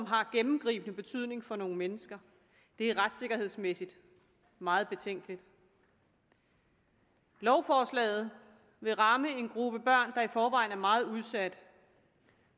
har gennemgribende betydning for nogle mennesker det er retssikkerhedsmæssigt meget betænkeligt lovforslaget vil ramme en gruppe børn der i forvejen er meget udsat